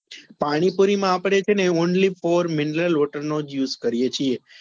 પાણીપુરી માં અપડે છે ને only for mineral water નો જ use કરીએ છીએ.